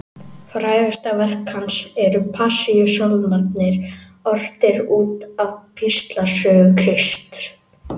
Frægasta verk hans eru Passíusálmarnir, ortir út af píslarsögu Krists.